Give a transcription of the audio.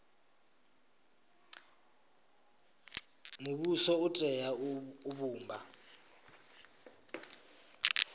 muvhuso u tea u vhumba